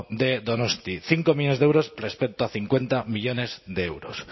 de donosti cinco millónes de euros respecto a cincuenta millónes de euros